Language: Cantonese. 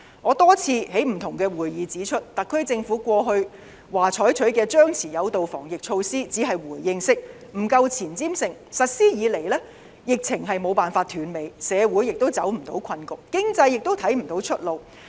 我多次在不同的會議指出，特區政府過去表示採取的張弛有度防疫措施只是回應式，不夠前瞻性，實施以來，疫情無法停止，社會亦走不出困局，經濟亦看不到出路。